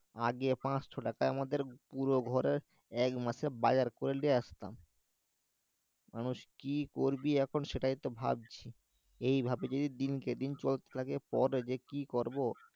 আগে পাঁচশো টাকায় আমাদের পুরো ঘরের একমাসের বাজার করে লিয়ে আসতাম মানুষ কি করবি এখন সেটাইতো ভাবছি এই ভাবেই যদি দিন কেটে চলে থাকে পরে কি যে করবো